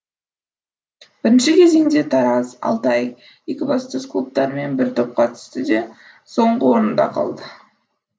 бірінші кезеңде тараз алтай екібастұз клубтарымен бір топқа түсті де соңғы орында қалды